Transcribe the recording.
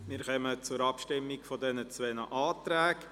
Wir kommen zur Abstimmung über die zwei Anträge.